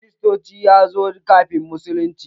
Kristanci ya zo kafin musulunci.